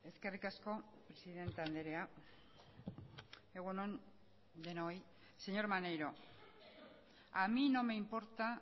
señor maneiro a mi no me importa